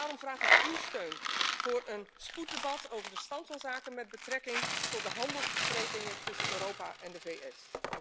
Daarom vraag ik uw steun voor een spoeddebat over de stand van zaken met betrekking tot de handelsbesprekingen tussen Europa en de VS.